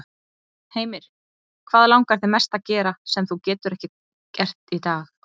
Heimir: Hvað langar þig mest að gera, sem þú getur ekki gert kannski í dag?